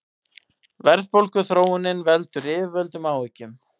Verðbólguþróunin veldur yfirvöldum áhyggjum